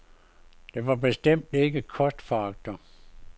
De var bestemt ikke kostforagtere.